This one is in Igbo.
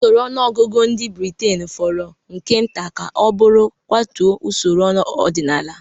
Usoro ọnụọgụgụ ndị Britain fọrọ nke nta ka ọ bụrụ kwatuo usoro ọdịnala